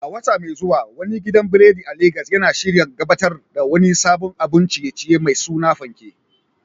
A wata mai zuwa, wani gidan biredi a Legas yana shirin gabatar da wani sabon abun ciye-ciye mai suna "Fanke,"